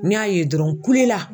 N y'a ye dɔrɔn n kulela.